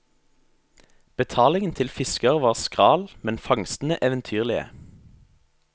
Betalingen til fisker var skral, men fangstene eventyrlige.